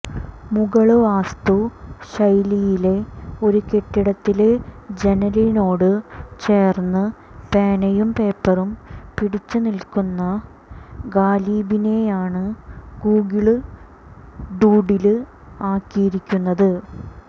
മുഗള് വാസ്തു ശൈലിയിലെ ഒരു കെട്ടിടത്തിലെ ജനലിനോട് ചേര്ന്ന് പേനയും പേപ്പറും പിടിച്ച് നില്ക്കുന്ന ഖാലിബിനെയാണ് ഗൂഗിള് ഡൂഡില് ആക്കിയിരിക്കുന്നത്